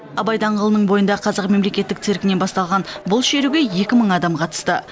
абай даңғылының бойындағы қазақ мемлекеттік циркінен басталған бұл шеруге екі мың адам қатысты